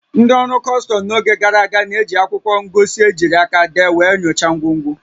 Ndị ọrụ kọstọm n'oge gara aga na-eji akwụkwọ ngosi ejiri aka dee wee nyochaa ngwongwo